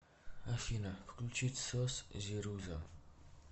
афина включить сос зируза